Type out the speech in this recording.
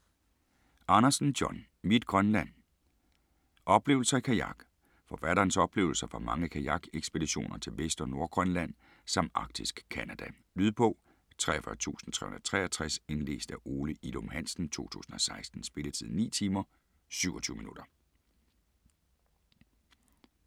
Andersen, John: Mit Grønland: oplevelser i kajak Forfatterens oplevelser fra mange kajakekspeditioner til Vest- og Nordgrønland samt Arktisk Canada. Lydbog 43363 Indlæst af Ole Ilum Hansen, 2016. Spilletid: 9 timer, 27 minutter.